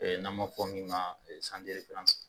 N'an ma fɔ min ka